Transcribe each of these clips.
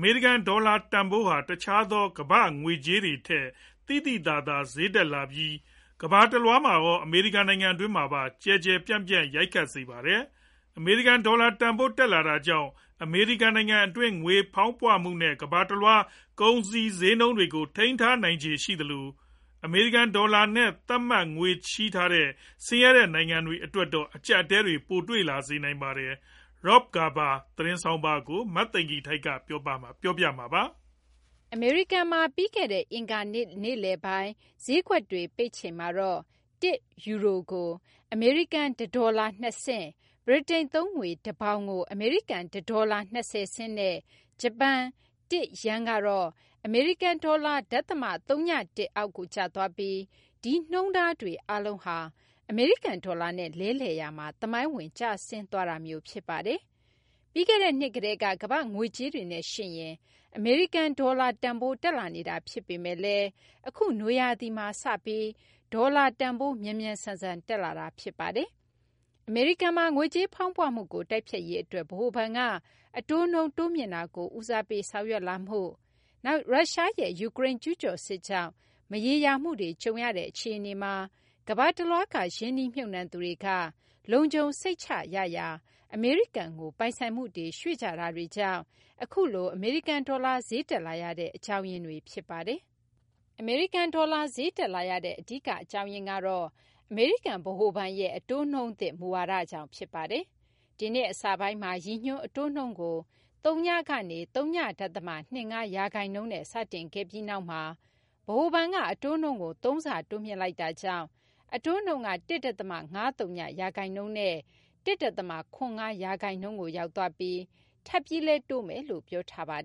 မေရိကန် ဒေါ်လာ တန်ဖိုးဟာ တခြားသော ကမ ္ဘာ့ငွေကြေးတွေထက် သိသိသာသာ ဈေးတက်လာပြီး ကမ ္ဘာတလွှားမှာရော အမေရိကန် နိုင်ငံတွင်းမှာပါ ကျယ်ကျယ်ပြန့်ပြန့် ရိုက်ခတ်စေပါတယ်။ အမေရိကန် ဒေါ်လာ တန်ဖိုးတက်လာတာကြောင့် အမေရိကန် နိုင်ငံတွင်း ငွေကြေးဖောင်းပွမှုနဲ့ ကမ ္ဘာတလွှား ကုန်စည်ဈေးနှုန်းတွေကို ထိန်းထားနိုင်ခြေ ရှိနိုင်သလို အမေရိကန် ဒေါ်လာနဲ့ သတ်မှတ် ငွေချေးထားတဲ့ ဆင်းရဲတဲ့ နိုင်ငံတွေ အတွက်တော့ အကျပ်အတည်း ပိုတွေ့စေနိုင်ပါတယ်။ Rob Garver ရဲ့ သတင်းဆောင်းပါးကို မသိင်္ဂ ီထိုက် ပြောပြပေးမှာပါ။ အမေရိကန်မှာ ပြီးခဲ့တဲ့ အင်္ဂါနေ့ နေ့လည်ပိုင်း ဈေးကွက်တွေ ပိတ်ချိန်မှာတော့ ၁ ယူရိုကို အမေရိကန် ၁ ဒေါ်လာ ၂ဆင့်၊ ဗြိတိန်သုံးငွေ ၁ ပေါင်ကို အမေရိကန် ၁ ဒေါ်လာ ၂၀ ဆင့် နဲ့ ဂျပန် ၁ ယန်းကတော့ အမေရိကန် ဒေါ်လာ ဒသမ ၀၁ အောက်ကို ကျသွားပြီး ဒီနှုန်းထားတွေ အားလုံးဟာ အမေရိကန် ဒေါ်လာနဲ့ လဲလှယ်ရာမှာ သမိုင်းဝင် ကျဆင်းသွားတာမျိုး ဖြစ်ပါတယ်။ ပြီးခဲ့တဲ့နှစ်ကတည်းက ကမ ္ဘာ့ ငွေကြေးတွေနဲ့ ယှဉ်ရင် အမေရိကန် ဒေါ်လာတန်ဖိုး တက်လာနေတာ ဖြစ်ပေမယ့်လည်း အခု နွေရာသီမှာစပြီး အမေရိကန် ဒေါ်လာတန်ဖိုး မြန်မြန်ဆန်ဆန် တက်လာတာ ဖြစ်ပါတယ်။ အမေရိကန်မှာ ငွေကြေးဖောင်းပွမှုကို တိုက်ဖျက်ရေးအတွက် ဗဟိုဘဏ်က အတိုးနှုန်း တိုးမြှင့်တာကို ဦးစားပေး ဆောင်ရွက်လာမှု၊ နောက် ရုရှားရဲ့ ယူကရိန်း ကျူးကျော်စစ်ကြောင့် မရေရာမှုတွေ ကြုံနေရတဲ့ အခြေအနေမှာ ကမ ္ဘာတလွှားက ရင်းနှီးမြှုပ်နှံသူတွေက လုံခြုံစိတ်ချရာ အမေရိကန်ကို ပိုင်ဆိုင်မှုတွေ ရွှေ့ကြတာတွေကြောင့် အခုလို အမေရိကန် ဒေါ်လာ ဈေးတက်လာရတဲ့ အကြောင်းရင်းတွေ ဖြစ်ပါတယ်။ အမေရိကန်ဒေါ်လာ ဈေးတက်လာရတဲ့ အဓိက အကြောင်းရင်းကတော့ အမေရိကန် ဗဟိုဘဏ်ရဲ့ အတိုးနှုန်းသစ် မူဝါဒကြောင့် ဖြစ်ပါတယ်။ ဒီနှစ် အစပိုင်းမှာ ရည်ညွှန်း အတိုးနှုန်းကို သုည ကနေ ဝ.၂၅ ရာခိုင်နှုန်းနဲ့ စတင်ခဲ့ပြီးနောက်မှာ ဗဟိုဘဏ်က အတိုးနှုန်းကို သုံးဆ တိုးမြှင့်လိုက်တာကြောင့် အတိုးနှုန်းက ၁.၅၀ ရာခိုင်နှုန်းနဲ့ ၁.၇၅ ရာခိုင်နှုန်းကို ရောက်သွားပြီး ထပ်ပြီးလည်း တိုးမယ်လို့ ပြောဆိုထားတာပါ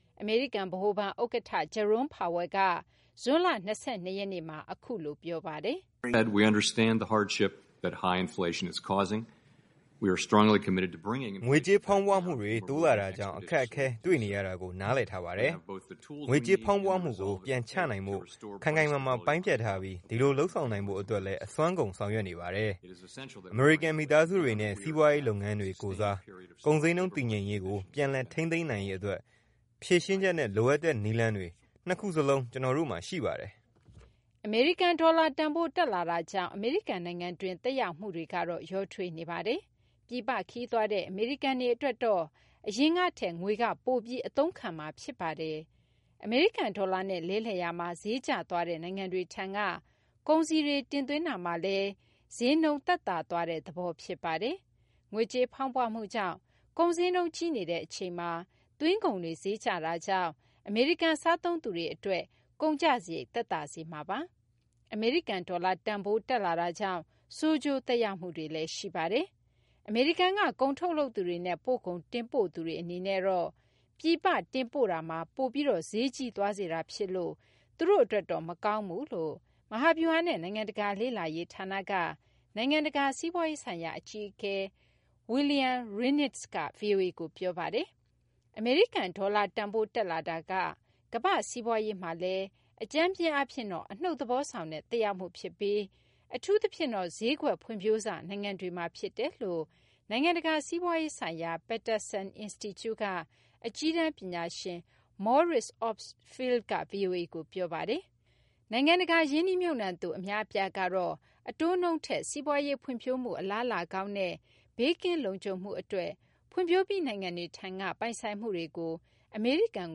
။ အမေရိကန် ဗဟိုဘဏ် ဥက္ကဌ Jerome Powell က ဇွန်လ ၂၂ ရက်နေမှာ အခုလို ပြောဆိုပါတယ်။ ငွေကြေးဖောင်းပွမှု တိုးလာတာကြောင့် အခက်အခဲ တွေ့ရတာကို နားလည်ထားပါတယ်။ ငွေကြေးဖောင်းပွမှုကို ပြန်ချနိုင်ဖို့ ခိုင်ခိုင်မာမာ ပိုင်းဖြတ်ထားပြီး ဒီလို လုပ်ဆောင်နိုင်ဖို့ အတွက်လည်း အစွမ်းကုန် ဆောင်ရွက်နေပါတယ်။ အမေရိကန် မိသားစုတွေနဲ့ စီးပွားရေးလုပ်ငန်းတွေကိုယ်စား ကုန်ဈေးနှုန်း တည်ငြိမ်ရေးကို ပြန်လည် ထိန်းနိုင်ရေးအတွက် ဖြေရှင်းချက်နဲ့ လိုအပ်တဲ့ နည်းလမ်းတွေ နှစ်ခုစလုံး ကျနော်တို့မှာ ရှိပါတယ်။ အမေရိကန် ဒေါ်လာ တန်ဖိုး တက်လာမှုကြောင့် အမေရိကန် နိုင်ငံတွင်း သက်ရောက်မှုတွေကတော့ ရောထွေးနေပါတယ်။ ပြည်ပ ခရီးသွားတဲ့ အမေရိကန်တွေ အတွက်တော့ အရင်ကထက် ငွေက ပိုပြီး အသုံးခံမှာ ဖြစ်ပါတယ်။ အမေရိကန် ဒေါ်လာနဲ့ လဲလှယ်ရာမှာ ဈေးကျသွားတဲ့ နိုင်ငံတွေထံက ကုန်စည်တွေကို တင်သွင်းတာမှာလည်း ဈေးနှုန်း သက်သာသွားတဲ့ သဘော ဖြစ်ပါတယ်။ ငွေကြေးဖောင်းပွမှုကြောင့် ကုန်ဈေးနှုန်းကြီးနေတဲ့ အချိန်မှာ သွင်းကုန်တွေ ဈေးကျတာကြောင့် အမေရိကန် စားသုံးသူတွေ အတွက် ကုန်ကျစရိတ် သက်သာစေမှာပါ။ အမေရိကန် ဒေါ်လာတန်ဖိုး တက်လာတာကြောင့် ဆိုးကျိုး သက်ရောက်မှုတွေလည်း ရှိပါတယ်။ အမေရိကန်က ကုန်ထုတ်လုပ်သူတွေနဲ့ ပို့ကုန် တင်ပို့သူတွေ အနေနဲ့တော့ ပြည်ပ တင်ပို့မှုမှာ ပိုပြီး ဈေးကြီးသွားစေတာ ဖြစ်လို့ သူတို့ အတွက်တော့ မကောင်းဘူးလို့ မဟာဗျူဟာနဲ့ နိုင်ငံတကာ လေ့လာရေး ဌာနက နိုင်ငံတကာ စီးပွားရေးဆိုင်ရာ အကြီးအကဲ Wiliam Reinsch က ဗွီအိုအေကို ပြောပါတယ်။ အမေရိကန် ဒေါ်လာတန်ဖိုး တက်လာတာ ကမ ္ဘာ့ စီးပွားရေးမှာလည်း အကြမ်းဖျဉ်းအားဖြင့်တော့ အနုတ်သဘောဆောင်တဲ့ သက်ရောက်မှု ဖြစ်ပြီး အထူးသဖြင့်တော့ ဈေးကွက် ဖွံ့ဖြိုးစ နိုင်င့တွေမှာ ဖြစ်တယ်လို့ နိုင်ငံတကာ စီးပွားရေးဆိုင်ရာ Peterson Institute က အကြီးတန်း ပညာရှင် Maurice Obstfeld က ဗွီအိုအေကို ပြောပါတယ်။ နိုင်ငံတကာ ရင်းနှီးမြှုပ်နှံသူ အများအပြားကတော့ အတိုးနှုန်းထက် စီးပွားရေး ဖွံ့ဖြိုးမှု အလားအလာကောင်းနဲ့ ဘေးကင်းလုံခြုံမှုအတွက် ဖွံ့ဖြိုးပြီး နိုင်ငံတွေထံက ပိုင်ဆိုင်မှုတွေကို အမေရိကန်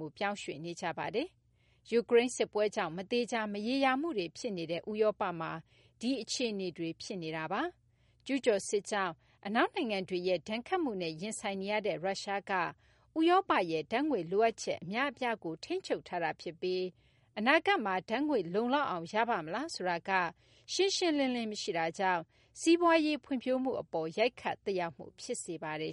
ကို ပြောင်းရွှေ့နေကြပါတယ်။ ယူကရိန်း စစ်ပွဲကြောင့် မသေချာ မရေရာမှုတွေ ဖြစ်နေတဲ့ ဥရောပမှာ ဒီ အခြေအနေတွေ ဖြစ်နေတာပါ။ ကျူးကျော်စစ်ကြောင့် အနောက်နိုင်ငံတွေရဲ့ ဒဏ်ခတ်မှုနဲ့ ရင်ဆိုင်နေရတဲ့ ရုရှားက ဥရောပရဲ့ ဓာတ်ငွေ့ လိုအပ်ချက် အများအပြားကို ထိန်းချုပ်ထားတာ ဖြစ်ပြီး အနာဂတ်မှာ ဓာတ်ငွေ့ လုံလောက်အောင် ရပါ့မလားဆိုတာက ရှင်းရှင်းလင်းလင်း မရှိတာကြောင့် စီးပွားရေး ဖွံ့ဖြိုးမှု အပေါ် ရိုက်ခတ် သက်ရောက်မှု ဖြစ်စေပါတယ်။